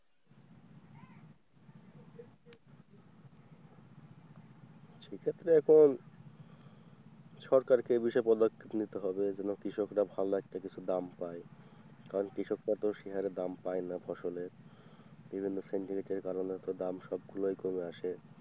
সেক্ষেত্রে এখন সরকারকে এ বিষয়ে পদক্ষেপ নিতে হবে এজন্য কৃষকরা ভালো একটা কিছু দাম পায় কারণ কৃষকরা তো সে হারে দাম পায় না ফসলের বিভিন্ন centralisation কারণে দাম সবগুলোই কমে আসে।